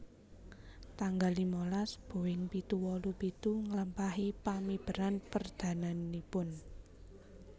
Tanggal limalas Boeing pitu wolu pitu nglampahi pamiberan perdananipun